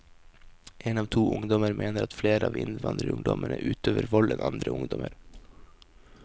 En av to ungdommer mener at flere av innvandrerungdommene utøver vold enn andre ungdommer.